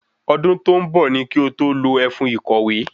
Ọdún tó ń bọ̀ ní kí o tó lo ẹfun ìkòwé